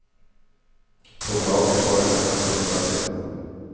På flaket var det nästan fullsatt redan.